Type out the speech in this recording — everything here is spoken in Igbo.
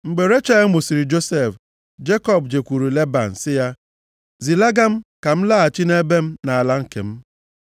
Mgbe Rechel mụsịrị Josef, Jekọb jekwuru Leban sị ya, “Zilaga m ka m laghachi nʼebe m na ala nke m.